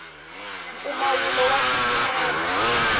mpfumawulo wa xitimela